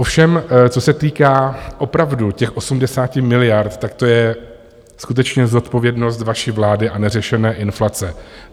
Ovšem co se týká opravdu těch 80 miliard, tak to je skutečně zodpovědnost vaší vlády a neřešené inflace.